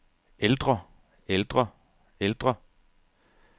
ældre ældre ældre